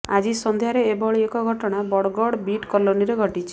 ଆଜି ସନ୍ଧ୍ୟାରେ ଏଭଳି ଏକ ଘଟଣା ବଡ଼ଗଡ଼ ବ୍ରିଟ୍ କଲୋନୀରେ ଘଟିଛି